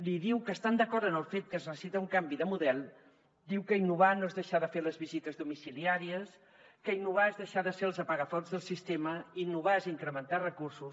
li diu que estan d’acord en el fet que es necessita un canvi de model diu que innovar no és deixar de fer les visites domiciliàries que innovar és deixar de ser els apagafocs del sistema innovar és incrementar recursos